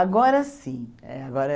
Agora sim. Eh agora